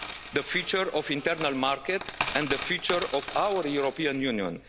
millions of people, the future of the internal market and the future of